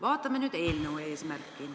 Vaatame nüüd eelnõu eesmärki.